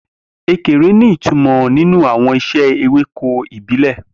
Ekere ní ìtumọ̀ nínú àwọn ìṣe ewéko ìbílẹ̀.